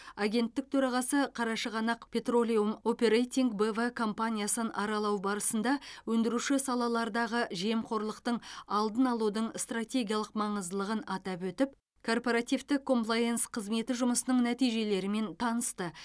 агенттік төрағасы қарашығанақ петролеум оперейтинг б в компаниясын аралау барысында өндіруші салалардағы жемқорлықтың алдын алудың стратегиялық маңыздылығын атап өтіп корпоративтік комплаенс қызметі жұмысының нәтижелерімен танысты